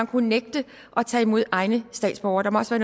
kunnet nægte at tage imod egne statsborgere der må også